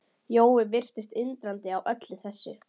Jói virtist undrandi á öllu þessu.